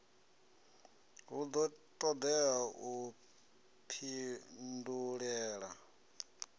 hu do todea u pindulela